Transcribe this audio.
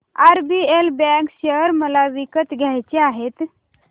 RBL bank share मला विकत घ्यायचे आहेत